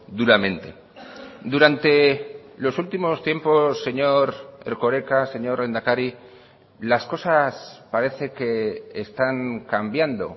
duramente durante los últimos tiempos señor erkoreka señor lehendakari las cosas parece que están cambiando